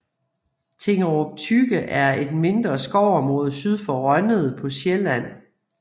Tingerup Tykke er et mindre skovområde syd for Rønnede på Sjælland